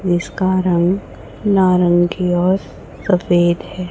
इसका रंग नारंगी और सफेद है।